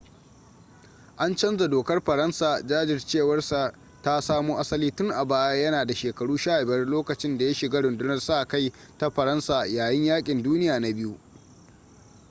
an canza dokar faransa jajircewar sa ta samo asali tun a baya yana da shekaru 15 lokacin da ya shiga rundunar sa-kai ta faransa yayin yakin duniya na ll